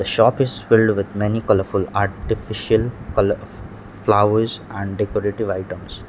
shop is filled with many colourful artificial colo flowers and decorative items.